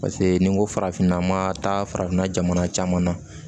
Paseke ni n ko farafinna an ma taa farafinna jamana caman na